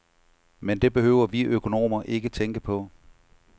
Men det behøver vi økonomer ikke tænke på.